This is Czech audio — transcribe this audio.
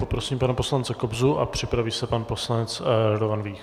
Poprosím pana poslance Kobzu a připraví se pan poslanec Radovan Vích.